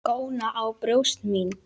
Góna á brjóst mín.